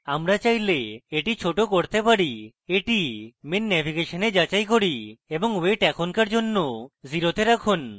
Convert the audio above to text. আমরা চাইলে এটি ছোট করতে পারি এটি main নেভিগেশনে যাচাই করুন এবং weight এখনকার জন্য 0 তে রাখুন